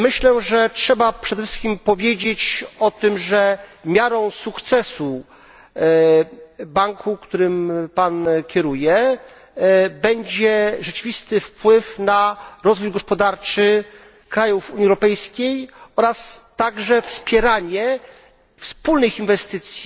Myślę, że trzeba przede wszystkim powiedzieć o tym, że miarą sukcesu banku, którym Pan kieruje, będzie rzeczywisty wpływ na rozwój gospodarczy krajów Unii Europejskiej, a także wspieranie wspólnych inwestycji